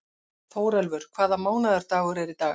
Þórelfur, hvaða mánaðardagur er í dag?